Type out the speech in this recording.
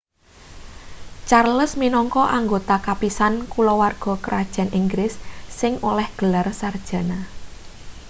charles minangka anggota kapisan kulawarga krajan inggris sing oleh gelar sarjana